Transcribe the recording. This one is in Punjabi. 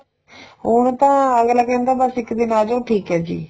ਹੁਣ ਤਾਂ ਅੱਗਲਾ ਕਹਿੰਦਾ ਬੱਸ ਇੱਕ ਦਿਨ ਆ ਜੋ ਠੀਕ ਏ ਜੀ